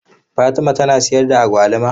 Fatima tana sayar da agwaluma?